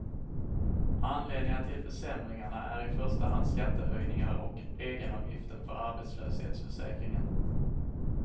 Anledningen till försämringarna är i första hand skattehöjningar och egenavgiften för arbetslöshetsförsäkringen.